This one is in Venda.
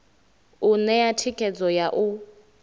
u ṋea thikhedzo ya u